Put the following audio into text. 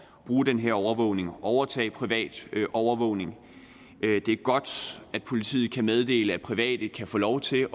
bruge den her overvågning og overtage privat overvågning det er godt at politiet kan meddele at private kan få lov til